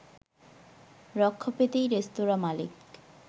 রক্ষা পেতেই রেস্তোরাঁ মালিক